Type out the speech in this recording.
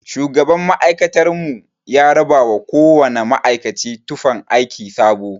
Shugaban ma'aikatar mu ya rabawa kowana ma'aikaci tufan aiki sabo.